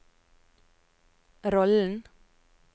rollen